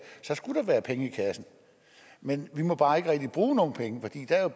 skulle der være penge i kassen men vi må bare ikke rigtig bruge nogen penge